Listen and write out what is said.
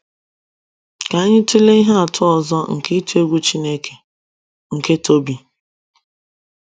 Ka anyị tụlee ihe atụ ọzọ nke ịtụ egwu Chineke — nke Tobi